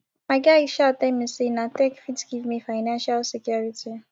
my guy um tell me sey na tech fit give me financial security